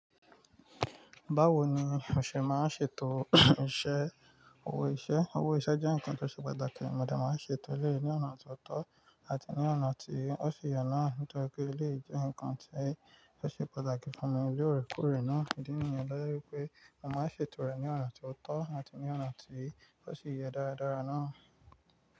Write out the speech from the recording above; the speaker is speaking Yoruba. Báwo ni òṣè máa ń ṣètò iṣẹ́? Owó iṣẹ́, owó iṣẹ́ jẹ́ nǹkan tó ṣe pàtàkì, mo de máa ń ṣètò eleyii ní ọ̀nà tó tọ́ àti ní ọ̀nà tí ó si ye naa, nítorí pé eleyii je ǹkan tí ó ṣe pàtàkì fún mi l'oore koore náà. Ìdí nìyẹn to je wipé mo máa ń ṣètò rẹ̀ ní ọ̀nà tó tọ́ àti ní ọ̀nà tí ó si yẹ́ dáradára náà.